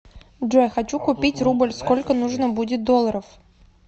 джой хочу купить рубль сколько нужно будет долларов